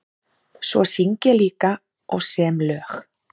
Svo syng ég líka og sem lög.